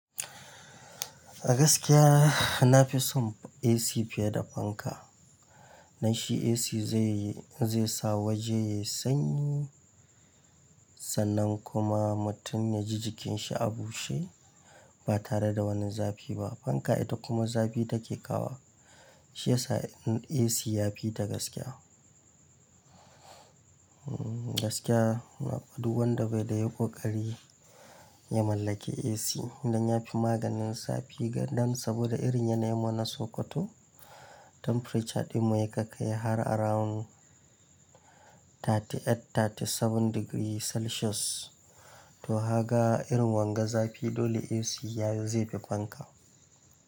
A gaskiya na fi son AC fiye da fanka. Na shi AC zai yi, zai sa waje yayi sanyi, sannan kuma mutum ya ji jikin shi a bushe ba tare da wani zafi ba. Fanka ita kuma zafi take kawo wa. Shi yasa AC ya fi ta gaskiya. Hmm gaskiya, na fi, du wanda bai da yai ƙokari ya mallaki AC don ya fi maganin zafi gaɗan saboda irin yanayi mu na Sokoto, temperature ɗin mu ya kai kai har around 38, 37 degree celsius. To haka irin wanga zafi dole AC ya yi zai fi fanka.